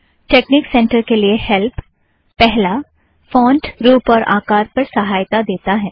technique center के लिए help - पहला - फ़ोंट रूप और आकार पर सहायता देता है